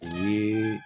O ye